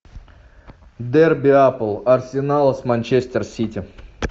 дерби апл арсенала с манчестер сити